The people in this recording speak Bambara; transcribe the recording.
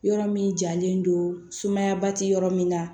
Yɔrɔ min jalen don sumaya ba tɛ yɔrɔ min na